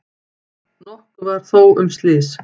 Nokkuð var þó um slys.